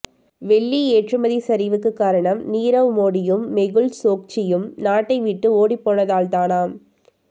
வெள்ளி ஏற்றுமதி சரிவுக்கு காரணம் நீரவ் மோடியும் மெகுல் சோக்சியும் நாட்டை விட்டு ஓடிப்போனதால்தானாம்